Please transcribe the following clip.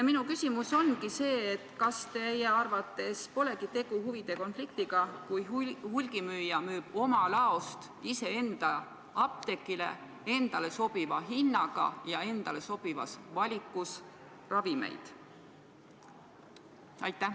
Minu küsimus on, et kas teie arvates polegi tegu huvide konfliktiga, kui hulgimüüja müüb oma laost iseenda apteegile endale sobiva hinnaga ja endale sobivas valikus ravimeid.